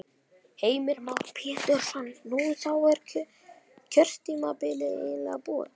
Heimir Már Pétursson: Nú, þá er kjörtímabilið eiginlega búið?